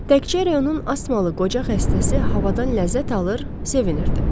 Təkcə rayonun asmalı qoca xəstəsi havadan ləzzət alır, sevinirdi.